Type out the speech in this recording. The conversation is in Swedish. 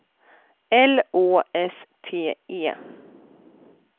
L Å S T E